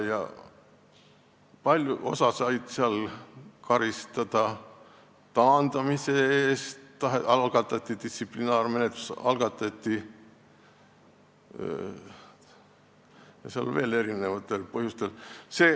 Osa sai karistada taandamise eest, algatati distsiplinaarmenetlusi erinevatel põhjustel.